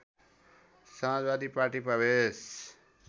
समाजवादी party प्रवेश